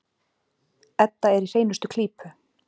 Edda er í hreinustu klípu.